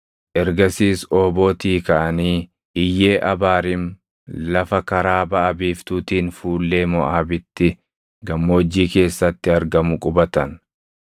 Ergasiis Oobootii kaʼanii Iyyee Abaariim lafa karaa baʼa biiftuutiin fuullee Moʼaabitti gammoojjii keessatti argamu qubatan.